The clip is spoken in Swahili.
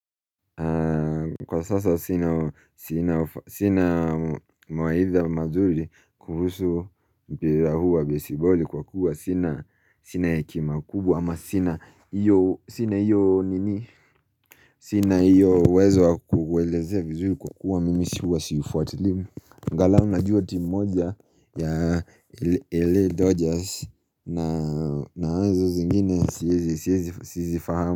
Kwa sasa sina mawaidha mazuri kuhusu mpira huwa baseball kwa kuwa sina hekima kubwa ama sina iyo nini Sina iyo uwezo kuelezea vizuri kwa kuwa mimi si huwa siufuatili angalao najua team moja ya L.a Dodgers na naanzo zingine sisifahamu.